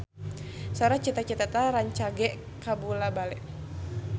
Sora Cita Citata rancage kabula-bale